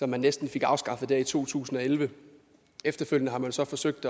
man næsten fik afskaffet i to tusind og elleve efterfølgende har man så forsøgt